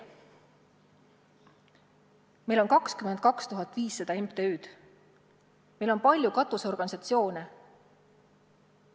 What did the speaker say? Meil on 22 500 MTÜ-d, meil on palju katusorganisatsioone.